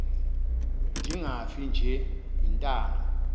ndingafi nje iintanga